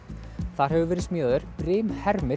þar hefur verið smíðaður